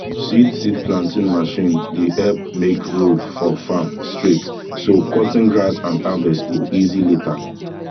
seed seed planting machine dey help make road for farm straight so cutting grass and harvest go easy later